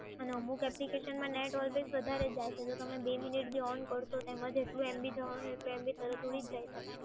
અને અમુક application માં net વધારે જાય છે જો તમે two minute બી on કરશો એમાં જેટલું MB જવાનું એ તો તરત જ ઊડી જ જાય છે